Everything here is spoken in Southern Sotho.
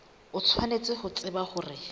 o tshwanetse ho tseba hore